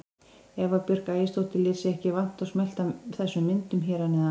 Eva Björk Ægisdóttir lét sig ekki vanta og smellti af þessum myndum hér að neðan.